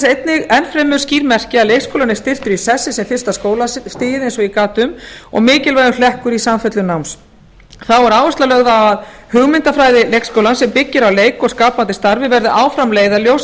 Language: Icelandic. ber þess enn fremur skýr merki að leikskólinn er styrktur í sessi sem fyrsta skólastigið eins og ég gat um og mikilvægur hlekkur í samfellu náms þá er áhersla lögð á að hugmyndafræði leikskólans sem byggir á leik og skapandi starfi verði áfram leiðarljós